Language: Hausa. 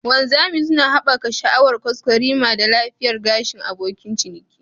Wanzami suna haɓaka sha'awar kwaskwarima da lafiyar gashin abokin ciniki.